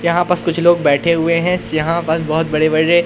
यहां बस कुछ लोग बैठे हुए हैं जहां बस बहोत बड़े बड़े--